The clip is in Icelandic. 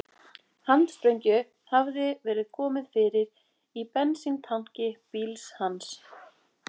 Handsprengju hafði verið komið fyrir í bensíntanki bíls hans